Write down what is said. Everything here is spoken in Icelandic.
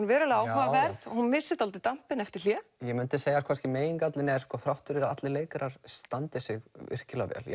verulega áhugaverð hún missir dálítið eftir hlé ég myndi segja að megingallinn er þrátt fyrir að allir leikarar standi sig virkilega vel